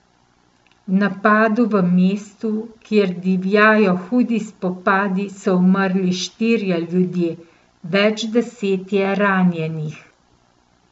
V napadu v mestu, kjer divjajo hudi spopadi, so umrli štirje ljudje, več deset je ranjenih.